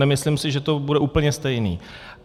Nemyslím si, že to bude úplně stejné.